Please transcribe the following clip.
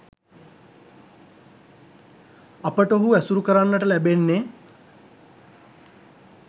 අපට ඔහු ඇසුරු කරන්නට ලැබෙන්නෙ